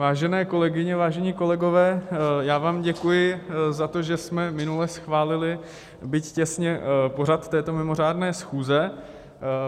Vážené kolegyně, vážení kolegové, já vám děkuji za to, že jsme minule schválili, byť těsně, pořad této mimořádné schůze.